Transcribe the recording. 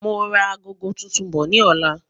Máa ra agogo tuntun bọ̀ ní ọ̀la